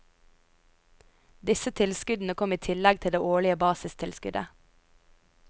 Disse tilskuddene kom i tillegg til det årlige basistilskuddet.